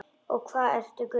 Og hvað ertu gömul?